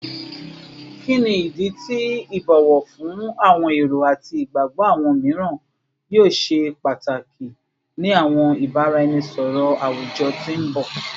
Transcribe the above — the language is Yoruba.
Kini idi ti ibowo fun awọn ero ati igbagbọ awọn miiran yoo ṣe pataki ni awọn ibaraenisọrọ awujọ ti n bọ?